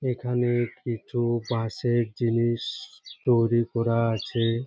এখানে কিছু বাঁশের জিনিস তৈরী করা আছে।